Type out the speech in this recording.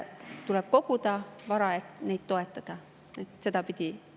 Tuleb koguda vara, et neid toetada, sedapidi.